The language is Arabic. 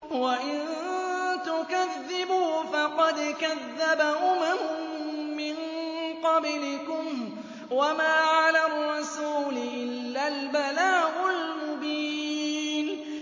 وَإِن تُكَذِّبُوا فَقَدْ كَذَّبَ أُمَمٌ مِّن قَبْلِكُمْ ۖ وَمَا عَلَى الرَّسُولِ إِلَّا الْبَلَاغُ الْمُبِينُ